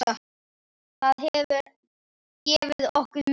Það hefur gefið okkur mikið.